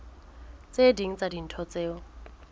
tse ding tsa dintho tseo